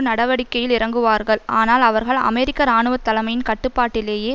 நடவடிக்கையில் இறங்குவார்கள் ஆனால் அவர்கள் அமெரிக்க இராணுவ தலைமையின் கட்டுப்பாட்டிலேயே